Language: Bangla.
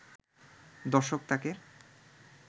দর্শক তাকে